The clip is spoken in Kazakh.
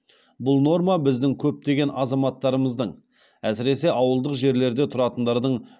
бұл норма біздің көптеген азаматтарымыздың әсіресе ауылдық жерлерде тұратындардың